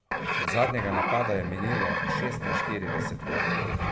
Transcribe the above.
Od zadnjega napada je minilo šestinštirideset ur.